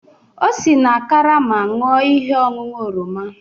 O si na karama ṅụọ ihe ọṅụṅụ oroma.